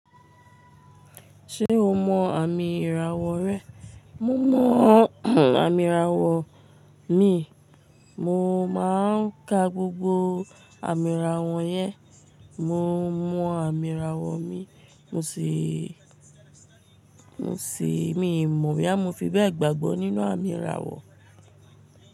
Ṣé o mọ àmì ìràwọ̀ rẹ? Mo mọ àmì ìràwọ̀ mi. Mo máa ń ka gbogbo àmì ìràwọ̀ yẹn. Mo mọ àmì ìràwọ̀ mi, mo sii Mo sì, mi mọ̀ boya mo fi bẹ́ẹ̀ gbàgbọ́ nínú àmì ìràwọ̀.